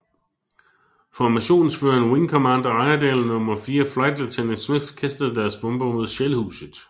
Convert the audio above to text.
Formationsføreren wing commander Iredale og nummer fire flight lieutenant Smith kastede deres bomber mod Shellhuset